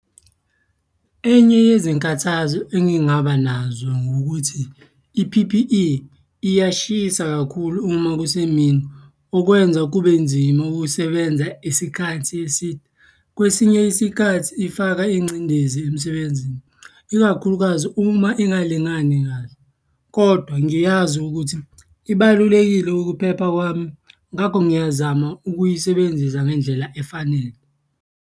Enye yezinkathazo engingaba nazo ngukuthi i-P_P_E iyashisa kakhulu uma kusemini. Okwenza kube nzima ukusebenza isikhathi eside. Kwesinye isikhathi ifaka ingcindezi emsebenzini, ikakhulukazi uma ingalingani kahle kodwa ngiyazi ukuthi ibalulekile ukuphepha kwami ngakho ngiyazama ukuyisebenzisa ngendlela efanele.